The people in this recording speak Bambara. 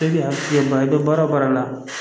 E y'a tigɛ ba i bɛ baara o baara la